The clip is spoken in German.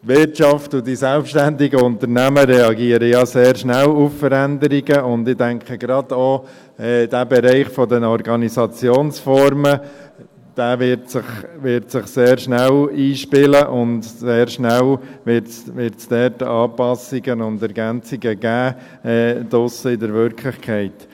Die Wirtschaft und die selbständigen Unternehmen reagieren ja sehr schnell auf Veränderungen, und ich denke, gerade auch der Bereich der Organisationsformen wird sich sehr schnell einspielen, und sehr schnell wird es dort Anpassungen und Ergänzungen geben, draussen in der Wirklichkeit.